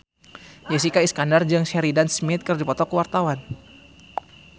Jessica Iskandar jeung Sheridan Smith keur dipoto ku wartawan